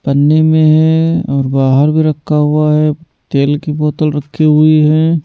पन्नी में है और बाहर भी रखा हुआ है तेल की बोतल रखी हुई है।